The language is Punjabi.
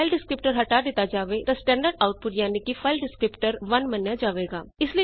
ਜੇ ਫਾਈਲ ਡਿਸਕ੍ਰਿਪਟਰ ਹਟਾ ਦਿੱਤਾ ਜਾਵੇ ਤਾਂ ਸਟੈਂਡਰਡ ਆਉਟਪੁਟ ਯਾਨਿ ਕਿ ਫਾਈਲ ਡਿਸਕ੍ਰਿਪਟਰ 1 ਮੰਨਿਆ ਜਾਵੇਗਾ